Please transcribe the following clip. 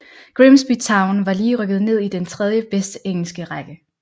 Grimsby Town var lige rykket ned i den tredje bedste engelske række